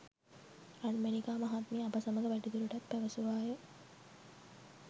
රන්මැණිකා මහත්මිය අප සමග වැඩිදුරටත් පැවසුවාය